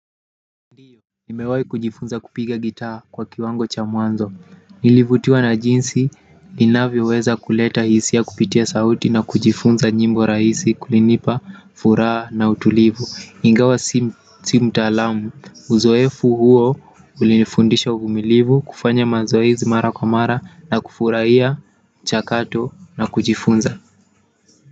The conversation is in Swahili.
Nimewahi kujifunza kupiga gitaa kwa kiwango cha mwanzo. Nilivutiwa na jinsi linavyo weza kuleta hisia kupitia sauti na kujifunza nyimbo rahisi kulinipa furaha na utulivu. Ingawa si mtaalamu uzoefu huo ulinifundisha uvumilivu kufanya mazoezi mara kwa mara na kufurahiya mchakato na kujifunza.